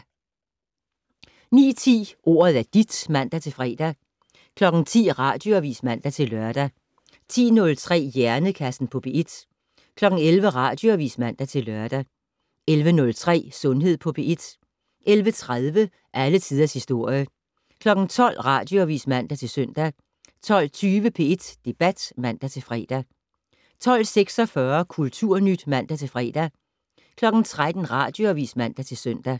09:10: Ordet er dit (man-fre) 10:00: Radioavis (man-lør) 10:03: Hjernekassen på P1 11:00: Radioavis (man-lør) 11:03: Sundhed på P1 11:30: Alle tiders historie 12:00: Radioavis (man-søn) 12:20: P1 Debat (man-fre) 12:46: Kulturnyt (man-fre) 13:00: Radioavis (man-søn)